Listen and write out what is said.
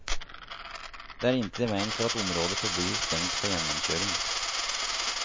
Det er intet i veien for at området forblir stengt for gjennomkjøring.